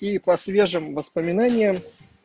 и по свежим воспоминаниям